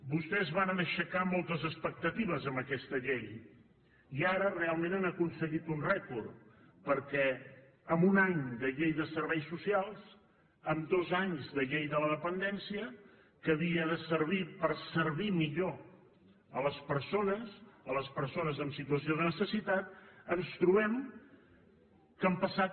vostès varen aixecar moltes expectatives amb aquesta llei i ara realment han aconseguit un rècord perquè en un any de llei de serveis socials en dos anys de llei de la dependència que havia de servir per servir millor a les persones a les persones en situació de necessitat ens trobem que han passat